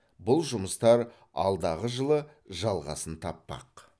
бұл жұмыстар алдағы жылы жалғасын таппақ